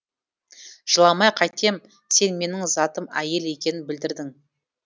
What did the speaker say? жыламай қайтем сен менің затым әйел екенін білдірдің